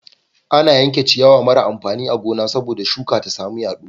Ana yanke ciyawa mara amfani a gona sabo da shuka ta samu yado